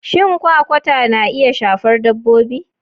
Shin Kwakwata na iya shafar Dabbobi?